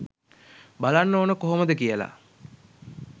බලන්න ඕන කොහොමද කියල.